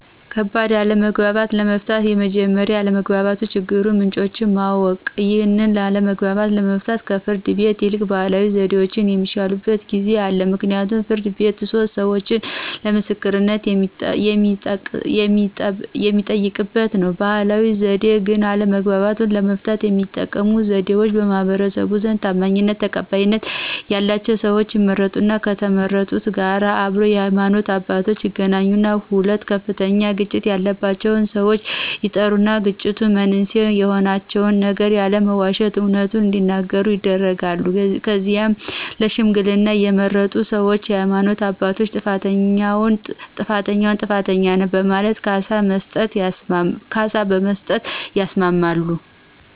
ከባድ አለመግባባቶችን ለመፍታት መጀመሪያ የአለመግባባት የችግሩን ምንጮችን ማወቅ። ይህን አለመግባባት ለመፍታት ከፍርድ ቤት ይልቅ ባህላዊ ዘዴዎች የሚሻሉበት ጊዜ አለ ምክንያቱም ፍርድ ቤት የሶስት ሰዎቾ ምስክርነት የሚጠየቅበት ነው። በባህላዊ ዘዴ ግን አለመግባባቶችን ለመፍታት የሚጠቀሙበት ዘዴዎች በማህበረሰቡ ዘንድ ታማኝነትና ተቀባይነት ያላቸው ሰዎች ይመረጣሉ ከተመረጡት ጋር አብረው የሃይማኖት አባቶች ይገኛሉ ሁለቱ ከፍተኛ ግጭት ያላቸው ሰዎች ይጠሩና የግጭት መንስኤ የሆናቸውን ነገር ያለመዋሸት አውነቱን እዲናገሩ ይደረግና ከዚያም ለሽምግልና የተመረጡ ሰዎችና የሃይማኖት አባቶች ጥፋተኛውን ጥፋተኛ ነህ በማለት ካሳ መስጠት ያስማማሉ።